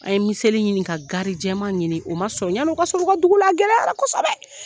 An ye miseli ɲini ka garijɛma ɲini o ma sƆrƆyann'o ka sɔrƆ u ka dugula a gɛlɛyara kosɛbɛ